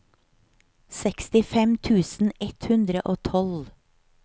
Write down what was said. sekstifem tusen ett hundre og tolv